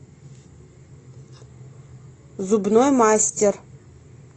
зубной мастер